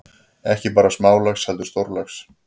Ekki bara smálax heldur stórlax.